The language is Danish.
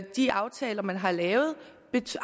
de aftaler man har lavet